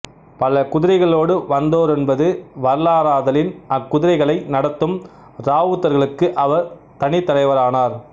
பல குதிரைகளோடு வந்தாரென்பது வரலாறாதலின் அக்குதிரைகளை நடத்தும் இராவுத்தர்களுக்கு அவர் தனித்தலைவரானார்